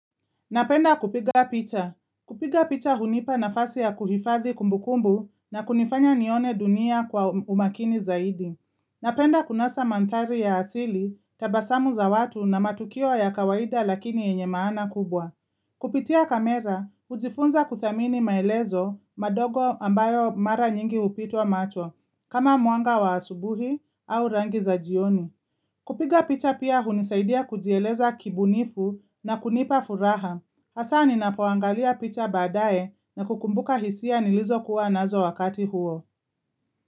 Napenda kupiga picha. Kupiga picha hunipa nafasi ya kuhifadhi kumbukumbu na kunifanya nione dunia kwa umakini zaidi. Napenda kunasa mandhari ya asili, tabasamu za watu na matukio ya kawaida lakini yenye maana kubwa. Kupitia kamera, hujifunza kuthamini maelezo madogo ambayo mara nyingi hupitwa macho, kama mwanga wa asubuhi au rangi za jioni. Kupiga picha pia hunisaidia kujieleza kibunifu na kunipa furaha. Asa ninapoangalia picha baadae na kukumbuka hisia nilizo kuwa nazo wakati huo.